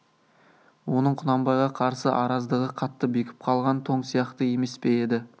оның құнанбайға қарсы араздығы қатты бекіп қалған тоң сияқты емес пе еді